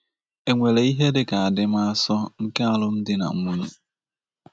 E nwere ihe dị ka adịmasọ nke alụmdi na nwunye?